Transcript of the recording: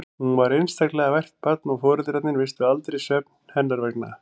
Hún var einstaklega vært barn og foreldrarnir misstu aldrei svefn hennar vegna.